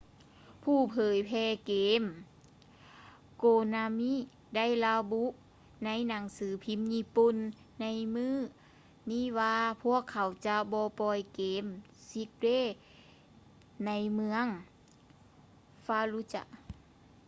ຜູ້ເຜີຍແຜ່ເກມ konami ໄດ້ລະບຸໃນໜັງສືພິມຍີ່ປຸ່ນໃນມື້ນີ້ວ່າພວກເຂົາຈະບໍ່ປ່ອຍເກມ six days ໃນເມືອງ fallujah